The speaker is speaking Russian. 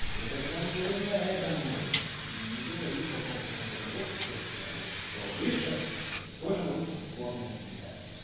и тогда мы говорим на этом уровне и не говорим о том что контроль общества как я уже писал выше тоже очень спорная фигня